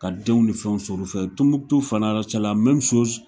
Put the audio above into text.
Ka denw ni fɛn sɔrɔ u fɛ , Tɔnbukutu fanara .